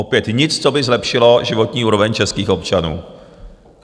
Opět nic, co by zlepšilo životní úroveň českých občanů.